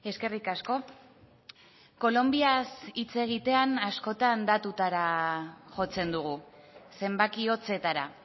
eskerrik asko kolonbiaz hitz egitean askotan datutara jotzen dugu zenbaki hotzetara